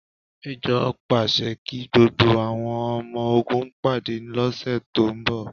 Méjọ̀ pàṣẹ kí gbogbo àwọn ọmọ ogun pàdé lóṣù tó ń bọ̀